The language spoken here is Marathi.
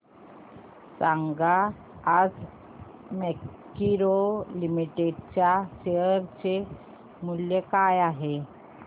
सांगा आज मॅरिको लिमिटेड च्या शेअर चे मूल्य काय आहे